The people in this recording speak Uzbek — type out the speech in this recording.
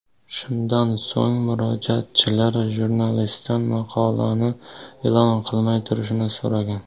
Shundan so‘ng, murojaatchilar jurnalistdan maqolani e’lon qilmay turishni so‘ragan.